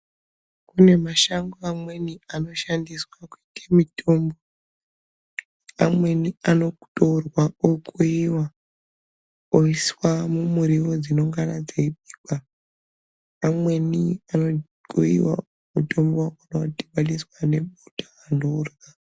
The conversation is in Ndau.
Kune mashango amweni ano shandiswa kuite mitombo amweni ano torwa okuyiwa oiswa mu muriwo dzino ngana dzei bikwa amweni ano kuyiwa otorwa odhibaniswa ne bota antu orya.